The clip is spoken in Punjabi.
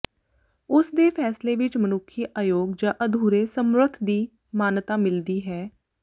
ਉਸ ਦੇ ਫ਼ੈਸਲੇ ਵਿੱਚ ਮਨੁੱਖੀ ਅਯੋਗ ਜ ਅਧੂਰੇ ਸਮਰੱਥ ਦੀ ਮਾਨਤਾ ਮਿਲਦੀ ਹੈ